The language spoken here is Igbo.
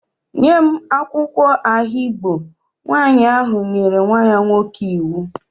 Nye m akwụkwọ ahigbo! Nwaanyị ahụ nyere nwa nwoke ahụ iwu